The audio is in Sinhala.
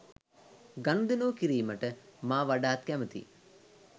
ගනුදෙනු කිරීමට මා වඩාත් කැමතියි